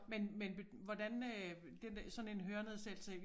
Men men hvordan øh den der sådan en hørenedsættelse